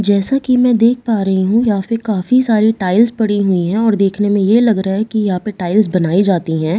जैसा कि मैं देख पा रही हूं यहां पे काफी सारे टाइल्‍स पड़े हुई हैं और देखने में यह लग रहा है कि यहां पे टाइल्‍स बनाई जाती है ।